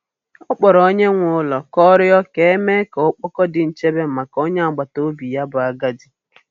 Ọ kpọrọ onye nwe ụlọ ka ọ rịọ ka e mee ka ọkpọkọ di nchebe maka onye agbata obi ya bụ agadi.